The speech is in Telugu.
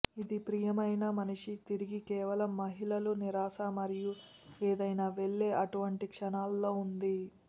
ఇది ప్రియమైన మనిషి తిరిగి కేవలం మహిళలు నిరాశ మరియు ఏదైనా వెళ్ళే అటువంటి క్షణాల్లో ఉంది